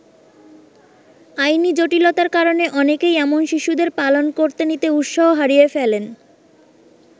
আইনি জটিলতার কারণে অনেকেই এমন শিশুদের পালন করতে নিতে উৎসাহ হারিয়ে ফেলেন।